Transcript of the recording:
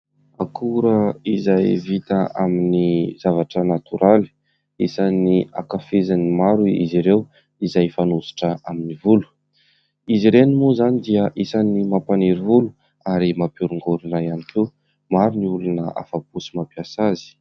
Akora iray izay vita amin'ny zavatra natoraly, isan'ny ankafizin'ny maro izy ireo izay fanositra amin'ny volo. Izy ireny moa izany dia isan'ny mampaniry volo ary mampiorongorina ihany koa. Maro ny olona afa-po sy mampiasa azy.